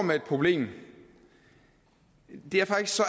med et problem det er faktisk så